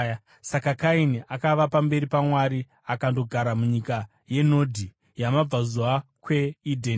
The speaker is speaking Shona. Saka Kaini akabva pamberi paJehovha akandogara munyika yeNodhi, kumabvazuva kweEdheni.